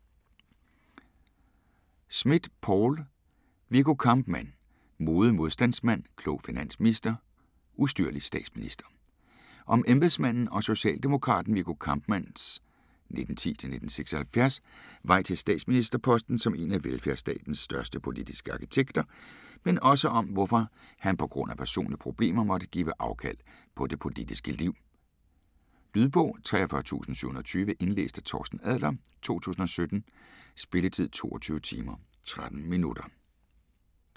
Smidt, Poul: Viggo Kampmann: modig modstandsmand, klog finansminister, ustyrlig statsminister Om embedsmanden og socialdemokraten Viggo Kampmanns (1910-1976) vej til statsministerposten som en af velfærdstatens største politiske arkitekter, men også om hvorfor han pga. personlige problemer måtte give afkald på det politiske liv. Lydbog 43720 Indlæst af Torsten Adler, 2017. Spilletid: 22 timer, 13 minutter.